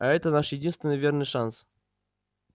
а это наш единственный верный шанс